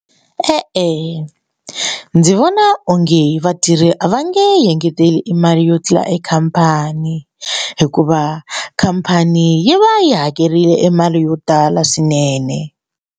E-e, ndzi vona onge vatirhi a va nge engeteli i mali yo tlula ekhampani hikuva khampani yi va yi hakerile mali yo tala swinene.